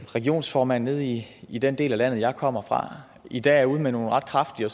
regionsformand nede i i den del af landet jeg kommer fra i dag er ude med nogle ret kraftige